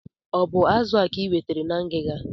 O bu azụ a ka I nwetere na ngiga?